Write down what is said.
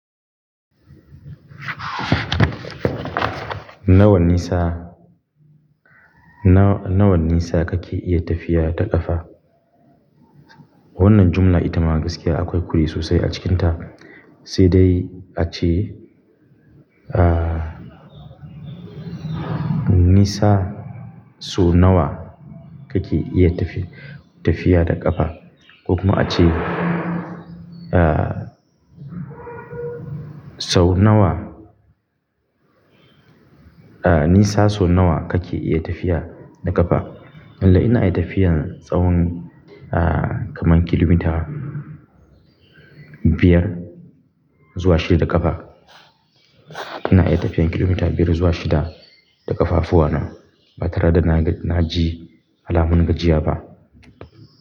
Nawa nisa, nawa nisa kake iya tafiya ta ƙafa? Wannan jumla ita ma gaskiya akwai kure sosai a cikinta. Sai dai ace, ah, nisa sau nawa kake iya tafiya da ƙafa? Ko kuma ace, ah, sau nawa, ah, nisa sau nawa kake iya tafiya da ƙafa? Lallai ina iya tafiyan tsawon, kaman kilomita biyar zuwa shida da ƙafa. Ina iya tafiyan kilomita biyar zuwa shida da ƙafafuwana ba tare da na ji alamun gajiya ba.